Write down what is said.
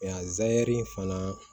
Nka zɛrɛri in fana